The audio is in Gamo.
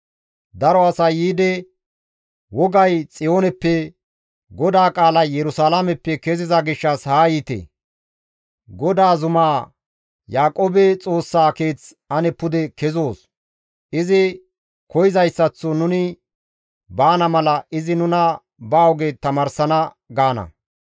Daro asay yiidi, «Wogay Xiyooneppe, GODAA qaalay Yerusalaameppe keziza gishshas haa yiite! GODAA zumaa, Yaaqoobe Xoossaa Keeth ane pude kezoos. Izi koyzayssaththo nuni baana mala izi nuna ba oge tamaarsana» gaana.